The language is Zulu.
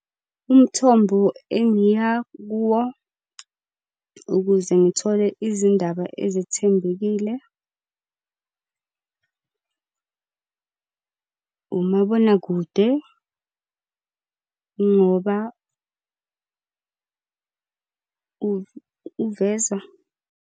Umthombo engiya kuwo, ukuze ngithole izindaba ezethembekile umabonakude ngoba uveza.